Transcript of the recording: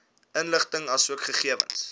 inligting asook gegewens